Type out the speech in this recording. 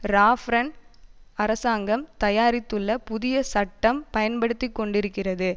Raffarin அரசாங்கம் தயாரித்துள்ள புதிய சட்டம் பயன்படுத்திக்கொண்டிருக்கிறது